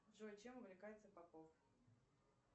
джой чем увлекается попов